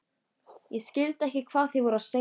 Ég skildi ekkert hvað þeir voru að segja.